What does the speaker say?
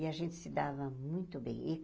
E a gente se dava muito bem e.